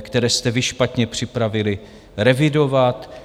které jste vy špatně připravili, revidovat.